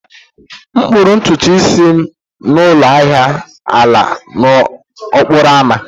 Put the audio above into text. M kpụrụ ntutu isi m na ụlọ ahia ala n'okporo ámá